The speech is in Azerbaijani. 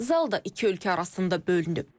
Zal da iki ölkə arasında bölünüb.